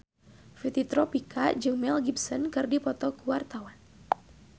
Fitri Tropika jeung Mel Gibson keur dipoto ku wartawan